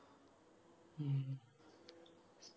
ഉം